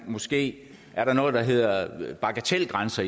måske er noget der hedder bagatelgrænser